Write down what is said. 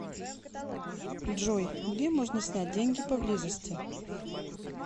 джой где можно снять деньги поблизости